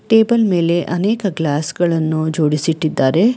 Table ಮೇಲೆ ಅನೇಕ glass ಗಳನ್ನು ಜೋಡಿಸಿಟ್ಟಿದ್ದಾರೆ.